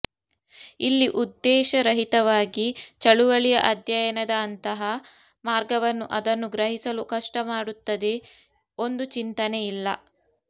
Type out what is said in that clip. ಇಲ್ಲಿ ಉದ್ದೇಶರಹಿತವಾಗಿ ಚಳುವಳಿಯ ಅಧ್ಯಯನದ ಅಂತಹ ಮಾರ್ಗವನ್ನು ಅದನ್ನು ಗ್ರಹಿಸಲು ಕಷ್ಟ ಮಾಡುತ್ತದೆ ಒಂದು ಚಿಂತನೆ ಇಲ್ಲ